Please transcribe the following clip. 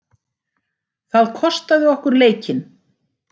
Það kostaði okkur leikinn.